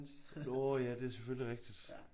Nåh ja det er selvfølgelig rigtigt